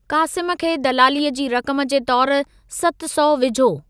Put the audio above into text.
क़ासिम खे दलालीअ जी रक़म जे तौर सत सौ विझो।